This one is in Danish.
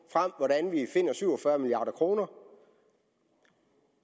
hvordan vi finder syv og fyrre milliard kroner